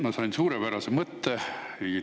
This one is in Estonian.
Ma sain suurepärase mõtte.